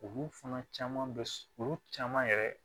Olu fana caman bɛ olu caman yɛrɛ